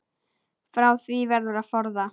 Frá því verður að forða.